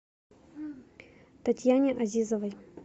татьяне азизовой